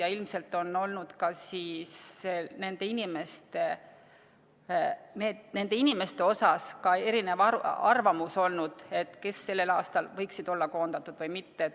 Ja ilmselt on ka nende inimeste suhtes erinev arvamus olnud, kes sellel aastal võiksid olla koondatud või mitte.